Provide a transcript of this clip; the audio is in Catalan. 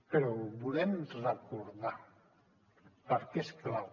però ho volem recordar perquè és clau